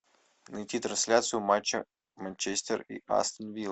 найти трансляцию матча манчестер и астон вилла